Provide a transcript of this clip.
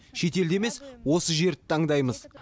шетелді емес осы жерді таңдаймыз